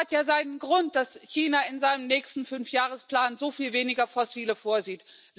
Es hat ja seinen Grund, dass China in seinem nächsten Fünfjahresplan so viel weniger fossile Energie vorsieht.